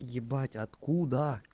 ебать откуда